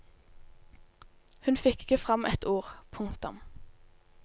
Hun fikk ikke fram et ord. punktum